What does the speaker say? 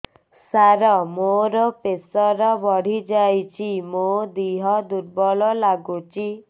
ସାର ମୋର ପ୍ରେସର ବଢ଼ିଯାଇଛି ମୋ ଦିହ ଦୁର୍ବଳ ଲାଗୁଚି